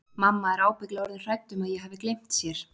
Mamma er ábyggilega orðin hrædd um að ég hafi gleymt sér.